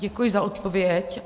Děkuji za odpověď.